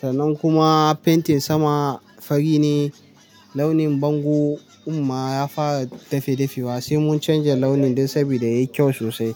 Sannan kuma fentin sama fari ne. Launin bango kuma ya fara dafe dafewa sai mun canja launin don saboda yayi kyau sosai.